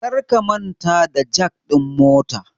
Karka manta da jak din motar